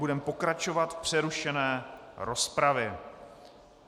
Budeme pokračovat v přerušené rozpravě.